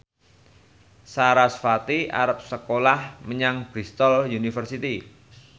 sarasvati arep sekolah menyang Bristol university